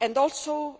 and also